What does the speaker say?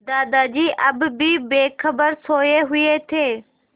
दादाजी अब भी बेखबर सोये हुए थे